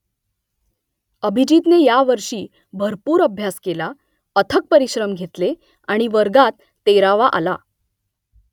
अभिजीतने यावर्षी भरपूर अभ्यास केला , अथक परिश्रम घेतले आणि वर्गात तेरावा आला